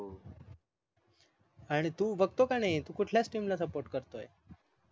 आणि तू बघतो का नाही तू कुठल्या TEAM ला SUPPORT करतोय